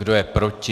Kdo je proti?